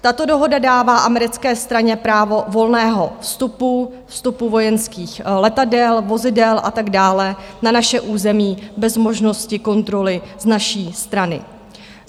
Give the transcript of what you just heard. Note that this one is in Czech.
Tato dohoda dává americké straně právo volného vstupu, vstupu vojenských letadel, vozidel a tak dále, na naše území bez možnosti kontroly z naší strany.